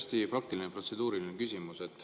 See on hästi praktiline protseduuriline küsimus.